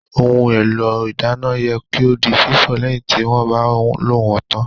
Ohun èlò ìdáná yẹ kí ó di fífọ̀ lẹ́yìn tí wọ́n bá lò wón tán